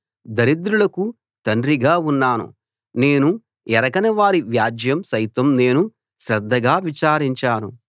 దరిద్రులకు తండ్రిగా ఉన్నాను నేను ఎరగనివారి వ్యాజ్యం సైతం నేను శ్రద్ధగా విచారించాను